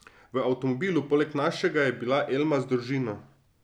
V avtomobilu poleg našega je bila Elma z družino.